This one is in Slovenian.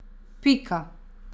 Pika.